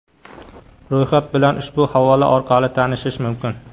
Ro‘yxat bilan ushbu havola orqali tanishish mumkin.